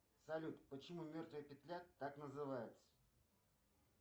салют почему мертвая петля так называется